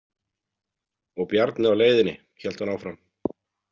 Og Bjarni á leiðinni, hélt hún áfram.